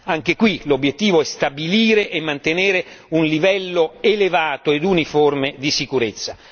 Anche qui l'obiettivo è stabilire e mantenere un livello elevato e uniforme di sicurezza.